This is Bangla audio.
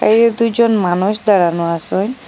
এর দুইজন মানুষ দাঁড়ানো আসেন।